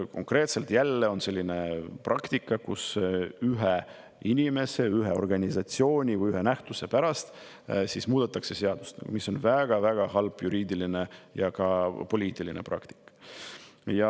Konkreetselt on jälle selline praktika, et ühe inimese, ühe organisatsiooni või ühe nähtuse pärast muudetakse seadust, mis on väga-väga halb juriidiline ja ka poliitiline praktika.